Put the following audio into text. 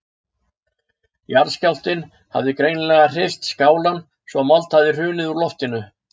Jarðskjálftinn hafði greinilega hrist skálann svo að mold hafði hrunið úr loftinu.